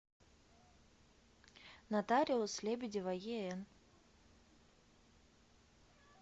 нотариус лебедева ен